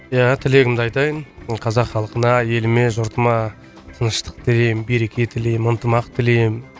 иә тілегімді айтайын қазақ халқына еліме жұртыма тыныштық тілеймін береке тілеймін ынтымақ тілеймін